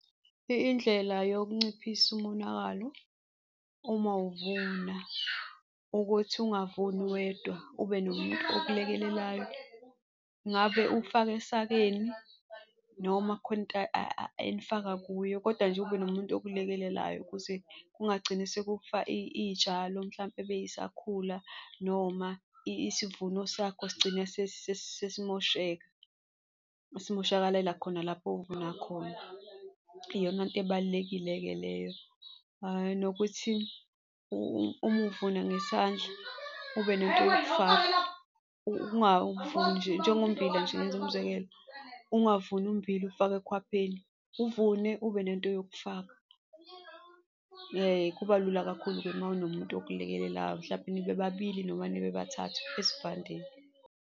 Indlela yokunciphisa umonakalo uma uvuna ukuthi ungavuni wedwa ube nomuntu okulekelelayo, ngabe uk'faka esakeni noma kukhona into enifaka kuyo kodwa nje ube nomuntu okulekelelayo kuze kungagcini sekufa iy'tshalo mhlampe ebeyisakhula, noma isivuno sakho sigcine sesimosheka, simoshekalela khona lapho ovuna khona, iyona nto ebalulekile-ke leyo. Nokuthi uma uvuna ngesandla ube nento yokufaka, ungavuni nje, njengommbila nje ngenze umzekelo, ungavumi ummbila uwufake ekhwapheni. Uvune ube nento yokufaka. Kubalula kakhulu-ke uma unomuntu okulekelelayo, mhlampe nibe babili noma nibe bathathu esivandeni.